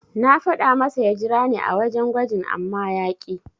Na faɗa masa ya jirani a wajen gwajin amma ya ƙi.